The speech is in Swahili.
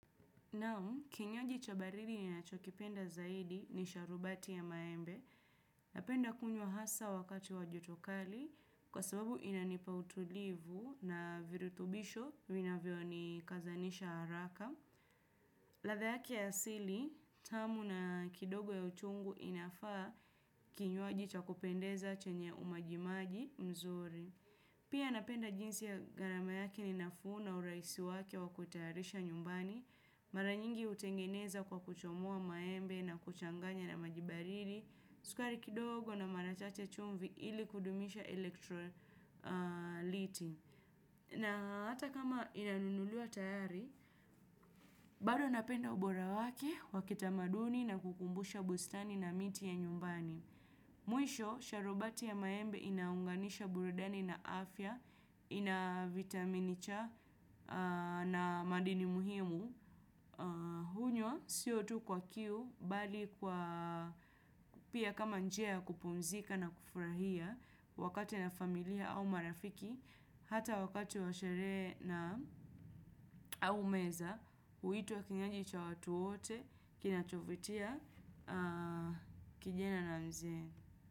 Nao, kinywaji cha baridi ninachokipenda zaidi ni sharubati ya maembe. Napenda kunywa hasa wakati wa joto kali kwa sababu inanipa utulivu na virutubisho vinavyo ni kazanisha haraka. Latha yake ya asili, tamu na kidogo ya uchungu inafaa kinywaji cha kupendeza chenye umajimaji mzuri. Pia napenda jinsi ya ghaarama yake ni nafuu na uraisi wake wa kutayarisha nyumbani. Maranyingi utengeneza kwa kuchomoa maembe na kuchanganya na maji baridi. Sukari kidogo na mara chache chumvi ili kudumisha elektroliti na hata kama inanunuliwa tayari bado napenda ubora wake wa kitamaduni na kukumbusha bustani na miti ya nyumbani. Mwisho, sharubati ya maembe inaunganisha burudani na afya. Ina vitamin cha na madini muhimu hunywa sio tu kwa kiu bali kwa pia kama njia kupumzika na kufurahia wakati na familia au marafiki hata wakati wa sherehe na au meza huitwa kinywaji cha watu wote kinachovutia kijana na mzee.